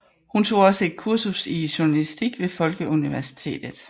Hun tog også et kursus i journalistik ved Folkeuniversitetet